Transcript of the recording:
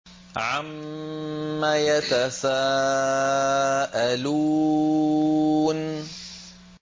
عَمَّ يَتَسَاءَلُونَ